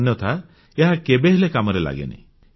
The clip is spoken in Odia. ଅନ୍ୟଥା ଏହା କେବେହେଲେ କାମରେ ଲାଗେନାହିଁ